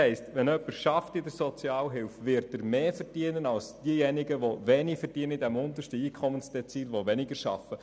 Wenn jemand in der Sozialhilfe arbeitet, heisst das, dass er mehr verdienen wird als diejenigen im untersten Einkommensdezil, die weniger arbeiten.